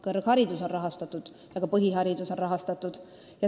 Kõrgharidus on rahastatud ja ka põhiharidus on rahastatud.